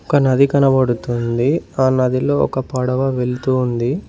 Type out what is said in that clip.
ఒక నది కనపడుతుంది ఆ నదిలో ఒక పడవ వెళ్తుంది.